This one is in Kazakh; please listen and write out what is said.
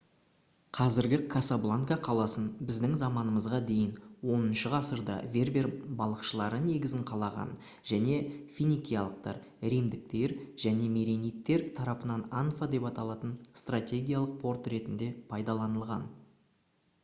қазіргі касабланка қаласын біздің заманымызға дейінгі 10-ғасырда вербер балықшылары негізін қалаған және финикиялықтар римдіктер және меренидтер тарапынан анфа деп аталатын стратегиялық порт ретінде пайдаланылған